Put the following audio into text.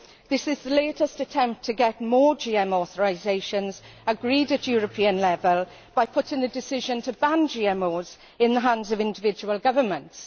This is the latest attempt to get more GM authorisations agreed at European level by putting the decision to ban GMOs in the hands of individual governments.